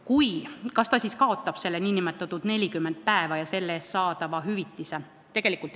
Kui nii, kas ta siis kaotab need 40 päeva ja nende eest saadava hüvitise?